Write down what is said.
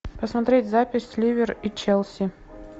посмотреть запись ливер и челси